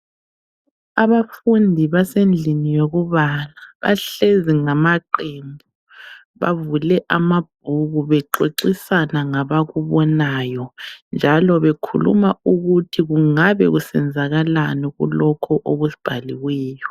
Abafundi basendlini yokubala. Bahlezi ngamaqembu. Bavule amabhuku bexoxisana ngabakubonayo njalo bekhuluma ukuthi kungabe kusenzakalani kulokho okubhaliweyo.